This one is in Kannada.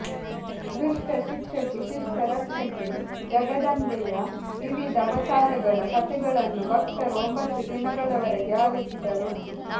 ದುಷ್ಟ ಶಿಕ್ಷಕಿ ಶಿಷ್ಟ ರಕ್ಷಕಿ ಜಗದಂಬೆಯ ವಿವಿಧ ಅವತಾರಗಳ ಕಥೆಗಳನ್ನು ಭಕ್ತರು ಒಂಬತ್ತು ದಿನಗಳವರೆಗೆ ಆಲಿಸಿದರು